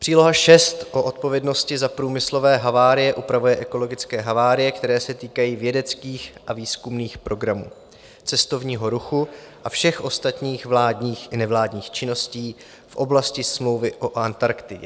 Příloha VI o odpovědnosti za průmyslové havárie upravuje ekologické havárie, které se týkají vědeckých a výzkumných programů, cestovního ruchu a všech ostatních vládních i nevládních činností v oblasti Smlouvy o Antarktidě.